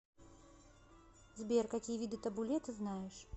сбер какие виды табуле ты знаешь